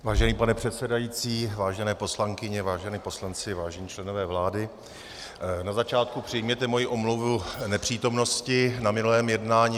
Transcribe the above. Vážený pane předsedající, vážené poslankyně, vážení poslanci, vážení členové vlády, na začátku přijměte moji omluvu nepřítomnosti na minulém jednání.